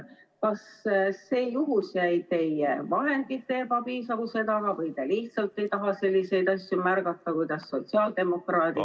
Kas see jäi teie vahendite ebapiisavuse taha või te lihtsalt ei taha märgata selliseid asju, kuidas sotsiaaldemokraadid ...